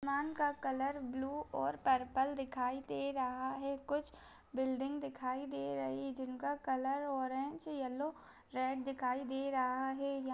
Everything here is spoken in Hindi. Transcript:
--मान का कलर ब्लू और पर्पल दिखाई दे रहा है कुछ बिल्डिंग दिखाई दे रही है जिनका कलर ऑरेंज येल्लो रेड दिखाए दे रहा है।